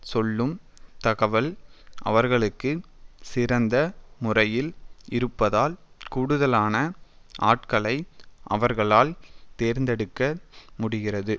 சொல்லும் தகவல் அவர்களுக்கு சிறந்த முறையில் இருப்பதால் கூடுதலான ஆட்களை அவர்களால் தேர்ந்தெடுக்க முடிகிறது